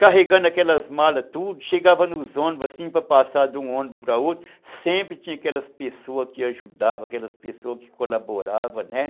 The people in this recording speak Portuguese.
carregando aquelas malas tudo, chegava nos ônibus assim para passar de um ônibus para outro, sempre tinha aquelas pessoas que ajudavam, aquelas pessoas que colaboravam, né.